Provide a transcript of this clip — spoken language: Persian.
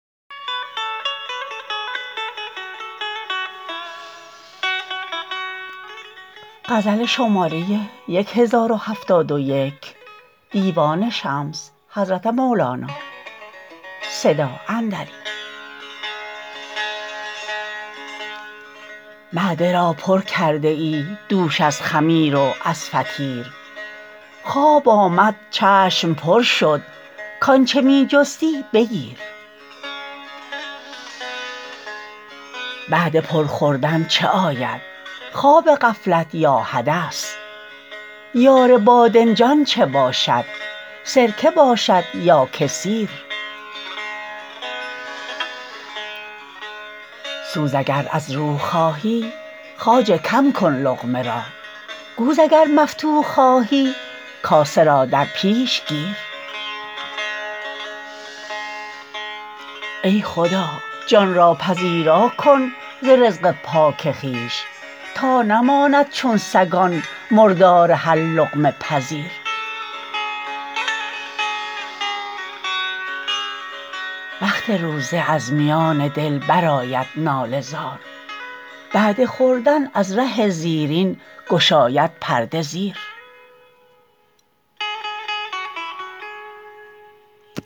معده را پر کرده ای دوش از خمیر و از فطیر خواب آمد چشم پر شد کآنچ می جستی بگیر بعد پرخوردن چه آید خواب غفلت یا حدث یار بادنجان چه باشد سرکه باشد یا که سیر سوز اگر از روح خواهی خواجه کم کن لقمه را گوز اگر مفتوح خواهی کاسه را در پیش گیر ای خدا جان را پذیرا کن ز رزق پاک خویش تا نماند چون سگان مردار هر لقمه پذیر وقت روزه از میان دل برآید ناله زار بعد خوردن از ره زیرین گشاید پرده زیر